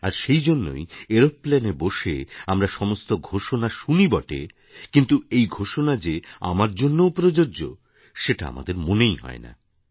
আর সেই জন্যই এরোপ্লেনে বসে আমরা সমস্ত ঘোষণা শুনি বটে কিন্তু এই ঘোষণা যে আমার জন্যও প্রযোজ্য সেটা আমাদের মনেই হয় না